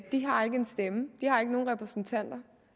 de har ikke nogen stemme de har ikke nogen repræsentanter